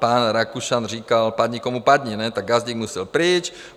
Pan Rakušan říkal: Padni, komu padni, tak Gazdík musel pryč.